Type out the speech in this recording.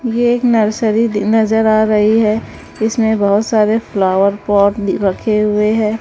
ये नर्सरी नजर आ रही है इसमें बहोत सारे फ्लावर पॉट रखे हुए हैं।